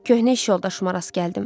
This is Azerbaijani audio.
Köhnə iş yoldaşıma rast gəldim.